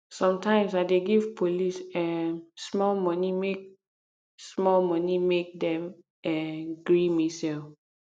sometimes i dey give police um small moni make small moni make dem um gree me sell